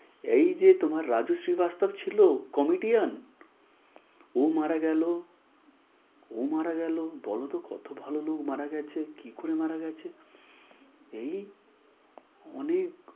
এই যে তোমার রাজশ্রী বাস্তব ছিল Comedian ও মারা গেল ও মারা গেল। বলতো কত ভালো লোক মারা গেছে কি করে মারা গেছে। এই অনেক